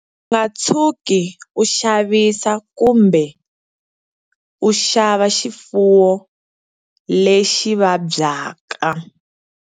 U nga tshuki u xavisa kumbe ku xava xifuwo lexi vabyaka.